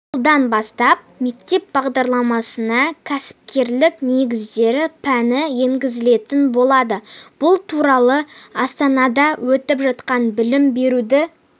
жылдан бастап мектеп бағдарламасына кәсіпкерлік негіздері пәні енгізілетін болады бұл туралы астанада өтіп жатқан білім беруді